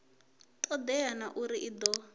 todea na uri i do